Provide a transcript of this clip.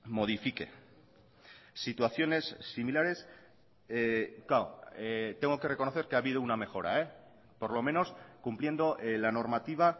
modifique situaciones similares claro tengo que reconocer que ha habido una mejora por lo menos cumpliendo la normativa